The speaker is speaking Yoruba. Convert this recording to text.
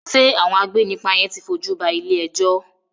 Ṣé àwọn agbénipa yen ti fojú ba ilé-ẹjọ́?